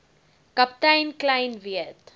kaptein kleyn weet